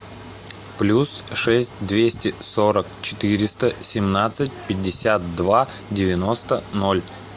плюс шесть двести сорок четыреста семнадцать пятьдесят два девяносто ноль